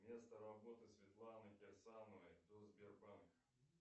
место работы светланы кирсановой до сбербанка